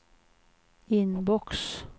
inbox